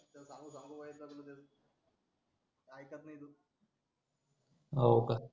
होका